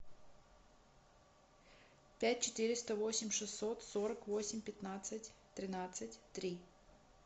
пять четыреста восемь шестьсот сорок восемь пятнадцать тринадцать три